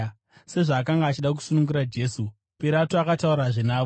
Sezvaakanga achida kusunungura Jesu, Pirato akataurazve navo.